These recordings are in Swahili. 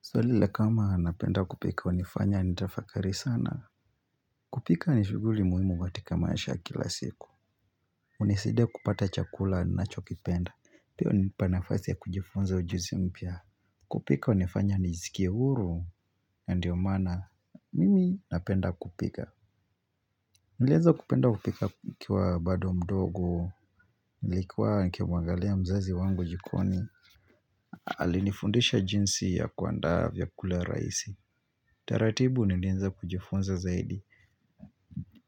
Swalile kama anapenda kupika wanifanya anitafakari sana kupika anishuguli muhimu watika maasha kila siku Uniside kupata chakula anacho kipenda Piyo ni panafasi ya kujifunza ujuzi mpya kupika wanifanya anijizikia uru ya ndiyo mana mimi napenda kupika Nileza kupenda kupika kiwa bado mdogo Nilekua nike wangalia mzazi wangu jikoni Alinifundisha jinsi ya kuandaa vyakule raisi taratibu nilinza kujifunza zaidi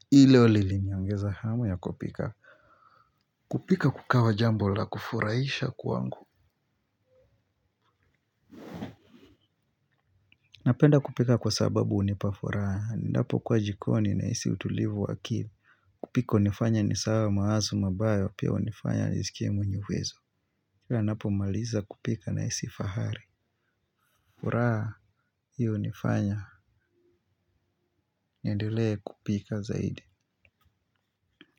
Hilo lili miangeza hamu ya kupika kupika kukawa jambo la kufuraisha kuangu Napenda kupika kwa sababu unipafura Ndapo kwa jikoni na isi utulivu wakili kupika unifanya nisawa maazu mabayo Pia unifanya nisikie mwenyewezo Kwa napo maliza kupika na isi fahari Uraa, hiyo unifanya Ndile kupika zaidi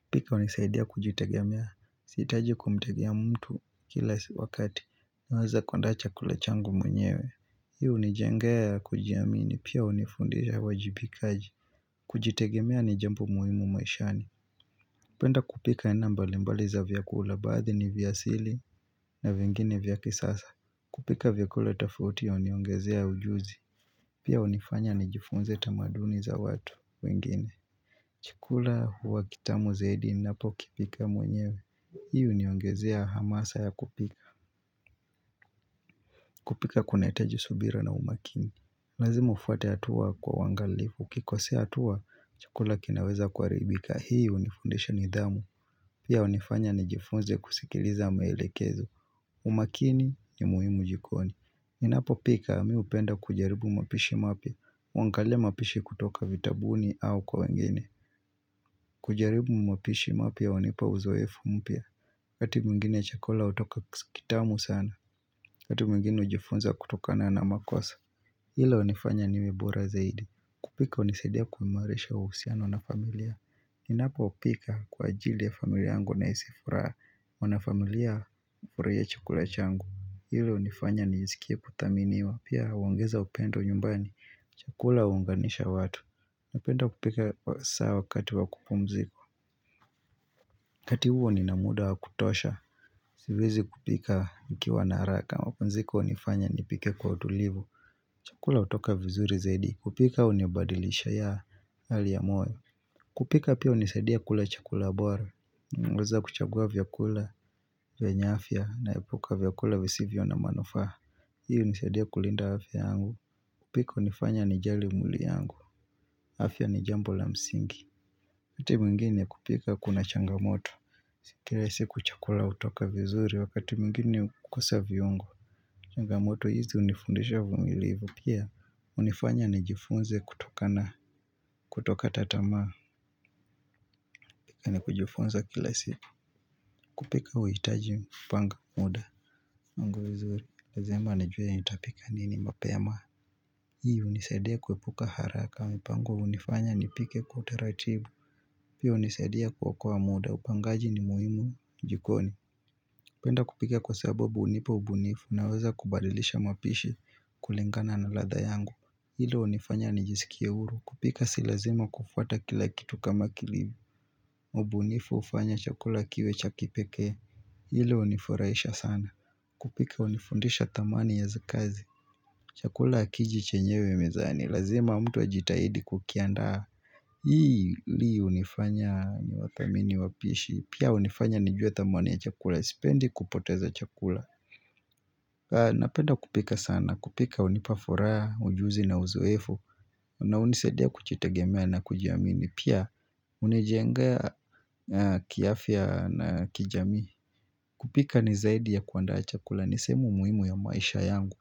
kupika unisaidia kujutagia mia Sitaji kumtegea mtu kila wakati Mwaza kundacha kulachangu mwenyewe Hiu ni jengea ya kujiamini Pia unifundisha wajibikaji kujitegemea ni jambu muhimu maishani penda kupika enambale mbaliza vyakula Baadhi ni vyasili na vingine vyakisasa kupika vyakula tafutia uniongezea ujuzi Pia unifanya nijifunze tamaduni za watu wengine Chikula huwa kitamu zaidi Napo kipika mwenyewe Hiyu niongezea hamasa ya kupika kupika kunaeteji subira na umakini Lazima ufate atua kwa wangalifu Kikosea atua, chukula kinaweza kuaribika Hiyu ni fundesha ni idhamu Pia unifanya ni jifunze kusikiliza mailekezu umakini ni muhimu jikoni Ninapo pika, miupenda kujaribu mapishi mapi wangalifu mapishi kutoka vitabuni au kwa wengine kujaribu mapishi mapi ya wanipa uzoefu mpia kati mungine chakola utoka kitamu sana kati mungine ujifunza kutokana na makosa Hilo unifanya niwebura zaidi kupika unisedia kumwaresha usiano na familia Ninapo upika kwa ajili ya familia angu na isifura Wanafamilia ureye chakula changu Hilo unifanya nizikia kutaminiwa Pia wangeza upendo nyumbani Chakola uunganisha watu Napenda kupika saa wakati wakupumziko kati huo ni namuda wakutosha Sivizi kupika ikiwa naraka Wapunziko unifanya nipike kwa utulivu Chakula utoka vizuri zaidi kupika unibadilisha ya hali ya moe kupika pia unisadia kula chakula abuara uweza kuchagua vyakula vya nyafia na epuka vyakula visivyo na manufaha Hiu unisadia kulinda afya angu kupika unifanya nijali umuli angu afya ni jambo la msingi kati mgini kupika kuna changamoto Sikile siku chakula utoka vizuri wakati mgini kukusa viongo shangamoto hizi unifundesha vumilivu pia unifanya nijifunze kutoka na kutoka tatama kani kujifunza kilasi kupika wehitaji mpanga muda nangu vizuri nazema anajwe ya nitapika nini mapeyama hii unisaidia kwepuka haraka mpango unifanya nipike kuteratibu pia unisaidia kukua muda upangaji ni muhimu jikoni penda kupika kwa sabobu unipo ubunifu naweza kubadilisha mapishi Kulengana na latha yangu Hilo unifanya nijisikia uru kupika silazima kufata kila kitu kama kilibi Mubunifu ufanya chakula kiwe chakipeke Hilo uniforaisha sana kupika unifundisha tamani ya zikazi Chakula kiji chenyewe mizani Lazima mtu wa jitahidi kukianda Hii li unifanya nyo wakamini wapishi Pia unifanya nijue tamani ya chakula Sipendi kupoteza chakula Napenda kupika sana na kupika unipafora, ujuzi na uzuwefu. Na unisedia kuchitegemea na kujiamini. Pia unijenga kiafia na kijami. Kupika nizaidi ya kuanda achakula nisemu muhimu ya maisha yangu.